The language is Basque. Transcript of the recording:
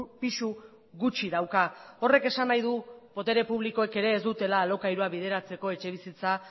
pisu gutxi dauka horrek esan nahi du botere publikoek ere ez dutela alokairua bideratzeko etxebizitza